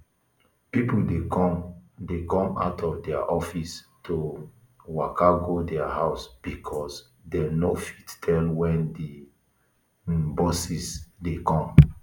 pipo dey come dey come out of dia offices to um waka go dia house because dem no fit tell wen di um buses dey come